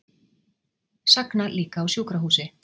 Sagna líka á sjúkrahúsi